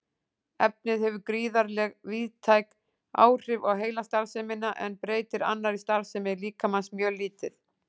Efnið hefur gríðarlega víðtæk áhrif á heilastarfsemina en breytir annarri starfsemi líkamans mjög lítið.